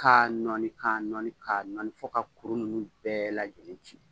Ka nɔni ka nɔni ka nɔni fɔ ka kuru nunnu bɛɛ lajɛlen ci.